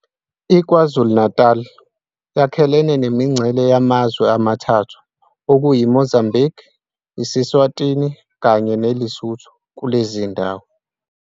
iKwaZulu-Natali yakhelene nemingcele yamazwe amathathu okuyi Mozambiki, iseSwatini kanye ne Lesotho kulezindawo.